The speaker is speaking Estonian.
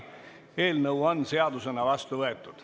Eelnõu on seadusena vastu võetud.